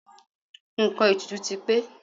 Nǹkan ètùtù ti pé.